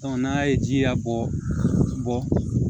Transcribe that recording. n'a ye ji a bɔ